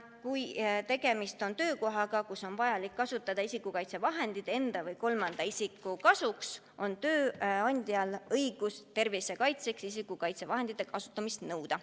Kui tegemist on töökohaga, kus on vajalik kasutada isikukaitsevahendeid enda või kolmandate isikute kaitseks, on tööandjal õigus isikukaitsevahendite kasutamist nõuda.